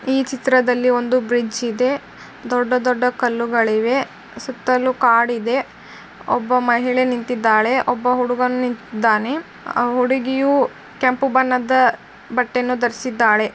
ಈ ಚಿತ್ರದಲ್ಲಿ ಒಂದು ಬ್ರಿಡ್ಜ್ ಇದೆ. ದೊಡ್ಡ ದೊಡ್ಡ ಕಲ್ಲುಗಳಿವೆ. ಸುತ್ತಲೂ ಕಾಡಿದೆ. ಒಬ್ಬ ಮಹಿಳೆ ನಿಂತಿದ್ದಾಳೆ ಒಬ್ಬ ಹುಡುಗನಿದ್ದಾನೆ ಹುಡುಗಿಯು ಕೆಂಪು ಬಣ್ಣದ ಬಟ್ಟೆ ಧರಿಸಿದ್ದಾಳೆ.